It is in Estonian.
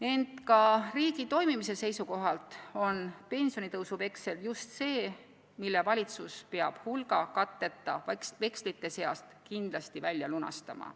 Ent ka riigi toimimise seisukohalt on pensionitõusu veksel just see, mille valitsus peab hulga katteta vekslite seast kindlasti välja lunastama.